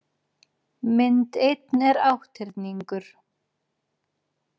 Mynd einn er átthyrningur.